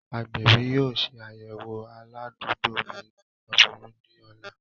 Agbẹbi yoo ṣe ayẹwo aladugbo mi aboyun ni ọla.